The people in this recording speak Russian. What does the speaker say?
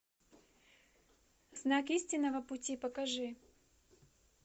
знак истинного пути покажи